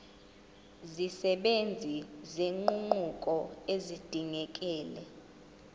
zisebenza nezinguquko ezidingekile